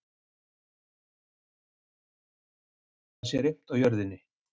Við þurfum svo að koma þeirri sögu af stað að það sé reimt á jörðinni.